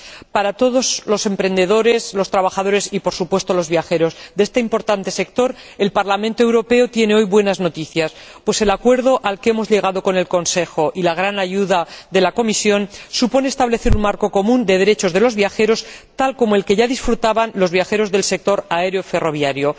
Para todos los emprendedores, los trabajadores y, por supuesto, los viajeros de este importante sector, el Parlamento Europeo tiene hoy buenas noticias, pues el acuerdo al que hemos llegado con el Consejo, con la gran ayuda de la Comisión, supone establecer un marco común de derechos de los viajeros, tal como el que ya disfrutaban los viajeros del sector aéreo y ferroviario.